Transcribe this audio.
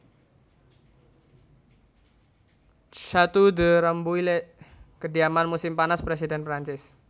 Château de Rambouillet kediaman musim panas presiden Perancis